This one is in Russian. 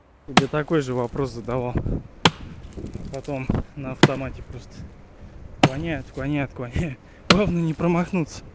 тебе такой же вопрос задавал потом на автомате просто вклоняют вклоняют вклоняют главное не промахнуться